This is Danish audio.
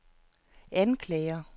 anklager